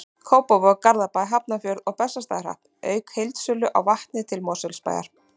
Kópavog, Garðabæ, Hafnarfjörð og Bessastaðahrepp, auk heildsölu á vatni til Mosfellsbæjar.